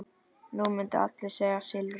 Nú myndu allir segja Silfra.